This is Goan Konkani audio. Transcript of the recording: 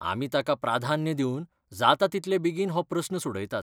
आमी ताका प्राधान्य दिवन जाता तितले बेगीन हो प्रस्न सोडयतात.